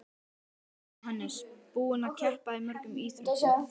Jóhannes: Búinn að keppa í mörgum íþróttum?